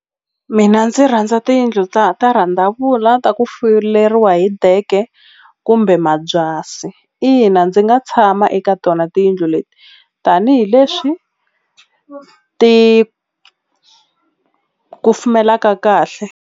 Mina ndzi rhandza tiyindlu ta ta rhandzavula ta ku fuleriwa hi deke kumbe mabyasi ina ndzi nga tshama eka tona tiyindlu leti tanihileswi ti kufumelaka kahle.